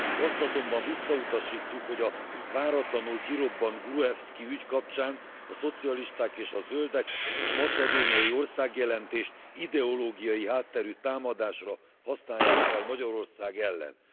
Azt azonban visszautasítjuk, hogy a váratlanul kirobbant Gruevszki ügy kapcsán a szocialisták és a zöldek a macedóniai országjelentést ideológiai hátterű támadásra használják fel Magyarország ellen.